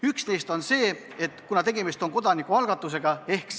Üks neist on see, et tegemist on kodanikualgatusega.